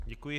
Děkuji.